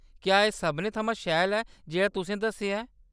क्या एह्‌‌ सभनें थमां शैल ऐ जेह्‌‌ड़ा तुसे दस्सेआ ऐ?